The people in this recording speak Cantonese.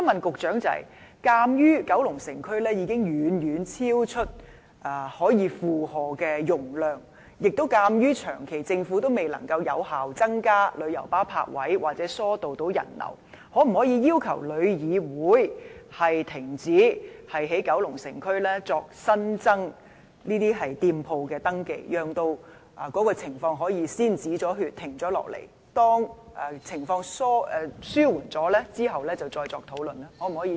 鑒於九龍城接待旅客的能力已遠超負荷，而政府長期未能有效增加旅遊巴泊位或疏導人流，我想問局長可否要求旅議會研究停止在九龍城區新增登記店鋪，讓情況能夠先"止血"，待情況紓緩後再作討論？